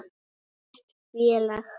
Almennt félag